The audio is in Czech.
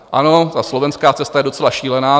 Ano, ta slovenská cesta je docela šílená.